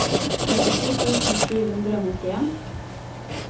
trettito tusen sju hundre og nittien